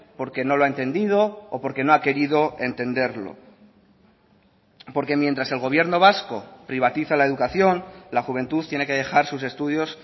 porque no lo ha entendido o porque no ha querido entenderlo porque mientras el gobierno vasco privatiza la educación la juventud tiene que dejar sus estudios